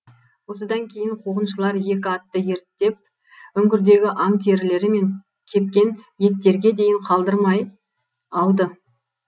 осыдан кейін қуғыншылар екі атты ерттеп үңгірдегі аң терілері мен кепкен еттерге дейін қалдырмай алды